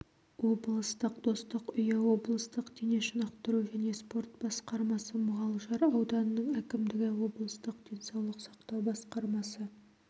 облыстық достық үйі облыстық дене шынықтыру және спорт басқармасы мұғалжар ауданының әкімдігі облыстық денсаулық сақтау басқармасы